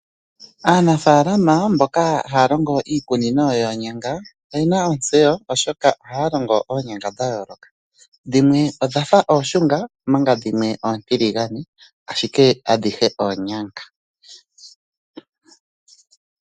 Aanafaalama mboka haya longo iikunino yoonyanga oyena ontseyo oshoka ohaya longo oonyanga dha yooloka. Dhimwe odhafa ooshunga omanga dhimwe oontiligane ashike adhihe oonyanga.